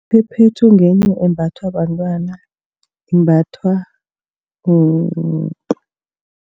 Iphephethu ngenye embathwa bantwana imbathwa